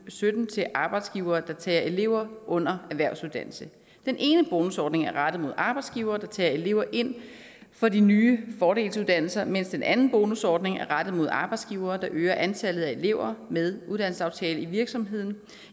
sytten til arbejdsgivere der tager elever under erhvervsuddannelse den ene bonusordning er rettet mod arbejdsgivere der tager elever ind fra de nye fordelsuddannelser mens den anden bonusordning er rettet mod arbejdsgivere der øger antallet af elever med uddannelsesaftale i virksomheden